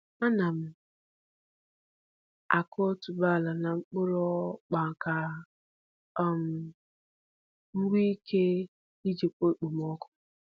Ana m akụ otuboala n’okpuru akpa ka um m nwee ike ijikwa okpomọkụ.